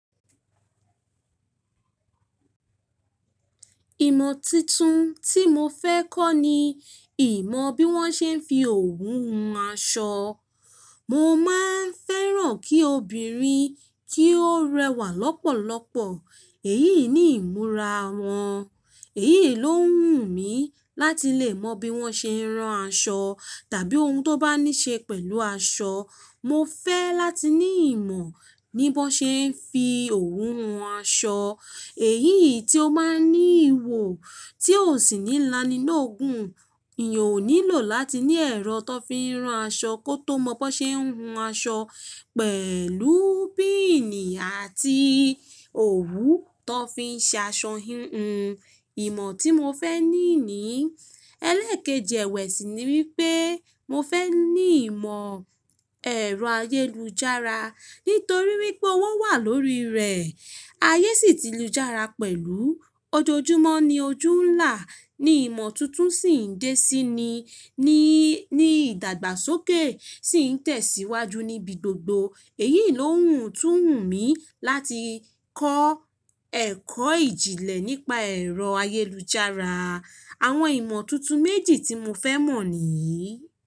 Ìmọ̀ titun tí mo fẹ́ kọ́ ni ìmọ̀ bí wọ́n ṣe ń fi òwú hun aṣọ. Mo máa ń fẹ́ràn kí obìnrin kí ó rẹwà lọ́pọ̀lọpọ̀ èyí ni ìmúra wọn. Èyí ló wù mí láti lè mọ bí wọ́n ṣe ń ran aṣọ tàbí oun tó bá ní ṣe pẹ̀lú aṣọ. Mo fẹ́ láti ní ìmọ̀ ní bí wọ́n ṣe ń fi òwú hun aṣọ. Èyí tí ó máa ń ní ìwò tí ò sì ní lani lóogun. Èeyan ò nílò láti ní ẹ̀rọ tó fi ń ran aṣọ kó tó mọ bí wọ́n ṣe ń hun aṣọ pẹ̀lú píìnì àti òwú tọ fi ń ṣe aṣọ híhun. Ìmọ̀ tí mo fẹ́ ní nii, ẹlẹ́ẹ̀keji ẹwẹ̀sì ni wípé mo fẹ́ ní ìmọ̀ ẹ̀rọ ayélujára nítorí wípé wọ́n wà lórí rẹ̀. Ayé sì ti lújára pẹ̀lú ojoojúmọ́ ní ojú ń là á ní ìmọ̀ tuntun sì ń dé síi ni ní ìdàgbàsókè sì ń tẹ̀síwájú níbi gbogbo. Èyí ló wù tú hun mí láti kọ́ ẹ̀kọ́ ìjìnlẹ̀ nípa ẹ̀rọ ayélujára. Àwọn ìmọ̀ tuntun méjì tí mo fẹ́ mọ̀ nìyí.